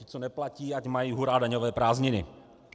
Ti, co neplatí, ať mají hurá daňové prázdniny.